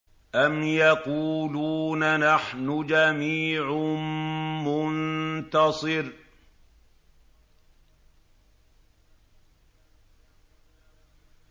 أَمْ يَقُولُونَ نَحْنُ جَمِيعٌ مُّنتَصِرٌ